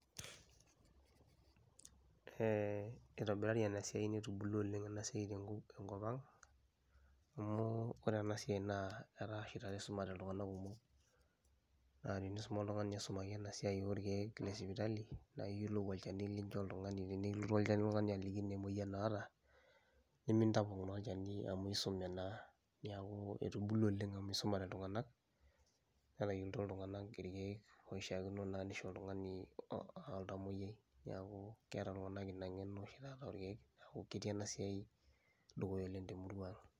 Ee itobirari enasiai metubulua oleng enasiai tenkopang, amu ore enasiai atashotitaata isumate ltunganak kumok, natenisuma oltungani nisumi enasiai esipitali naiyolou olchani lincho oltungani tenikilotu oltungani ajoki emoyian naata nimintapong na olchani amu isume naa, neaku etubulua oleng amu isumate ltunganak netayioloto ltunganak rkiek oishakino peishori oltamoyiai neaku keeta ltunganak inangeno orkiek neaku keeta ltunganak inangeno